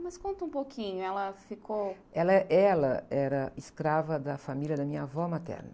Mas conta um pouquinho, ela ficou... la é, ela era escrava da família da minha avó materna.